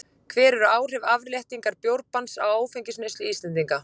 Hver voru áhrif afléttingar bjórbanns á áfengisneyslu Íslendinga?